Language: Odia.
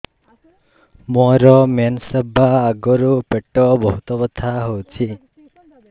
ମୋର ମେନ୍ସେସ ହବା ଆଗରୁ ପେଟ ବହୁତ ବଥା ହଉଚି